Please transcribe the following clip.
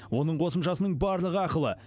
оның қосымшасының барлығы ақылы